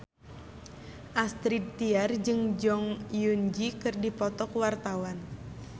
Astrid Tiar jeung Jong Eun Ji keur dipoto ku wartawan